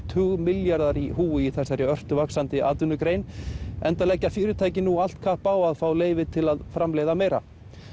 tugmilljarðar í húfi í þessari ört vaxandi atvinnugrein enda leggja fyrirtækin nú allt kapp á að fá leyfi til að framleiða meira